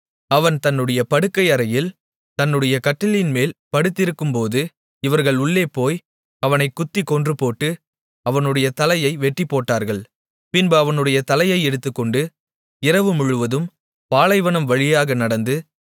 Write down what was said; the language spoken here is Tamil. அவன் தன்னுடைய படுக்கையறையில் தன்னுடைய கட்டிலின்மேல் படுத்திருக்கும்போது இவர்கள் உள்ளே போய் அவனைக் குத்திக் கொன்றுபோட்டு அவனுடைய தலையை வெட்டிப்போட்டார்கள் பின்பு அவனுடைய தலையை எடுத்துக்கொண்டு இரவுமுழுவதும் பாலைவனம் வழியாக நடந்து